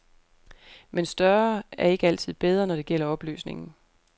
Men større er ikke altid bedre, når det gælder opløsningen.